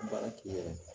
Baara k'i yɛrɛ ye